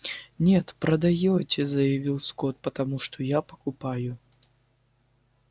нет продаёте заявил скотт потому что я покупаю